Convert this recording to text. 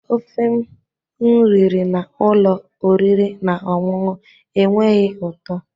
Ofe m riri na ụlọ oriri na ọṅụṅụ enweghị ụtọ